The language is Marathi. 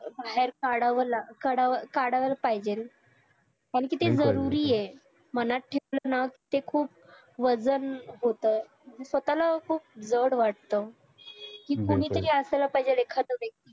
ते बाहेर काढावं ला काढावं काढला पाहिजे कारण कि ते जरुरी हाय मनात ठेवलं ना ते खुप वजन होत स्वतःला खुप जड वाटत कुणी तरी असायला पाहिजे एखाद्दा व्यक्ती